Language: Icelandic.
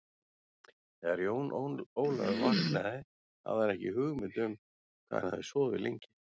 Þegar Jón Ólafur vaknaði hafði hann ekki hugmynd um hvað hann hafði sofið lengi.